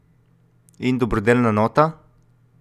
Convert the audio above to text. In dobrodelna nota?